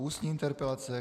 Ústní interpelace